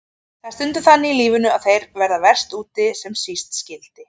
Það er stundum þannig í lífinu að þeir verða verst úti sem síst skyldi.